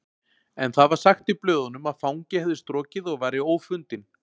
En það var sagt í blöðunum að fangi hefði strokið og væri ófundinn